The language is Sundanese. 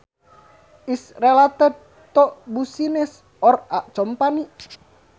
is related to business or a company